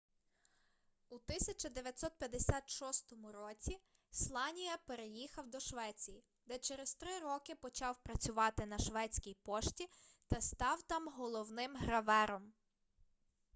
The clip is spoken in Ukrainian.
у 1956 році сланія переїхав до швеції де через три роки почав працювати на шведській пошті та став там головним гравером